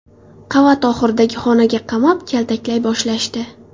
Qavat oxiridagi xonaga qamab, kaltaklay boshlashdi.